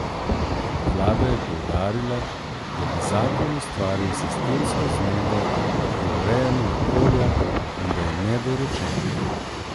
Vlada je poudarila, da bi zakon ustvaril sistemsko zmedo pri urejanju okolja in da je nedorečen.